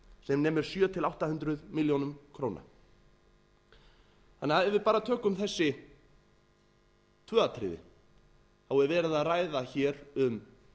sem nemur sjö hundruð átta hundruð milljóna króna ef við bara tökum þessi tvö atriði er verið að ræða hér um